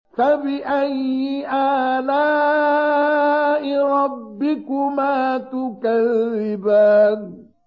فَبِأَيِّ آلَاءِ رَبِّكُمَا تُكَذِّبَانِ